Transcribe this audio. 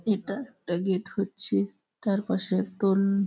এটা একটা গেট হচ্ছে তার পাশে একটা অন--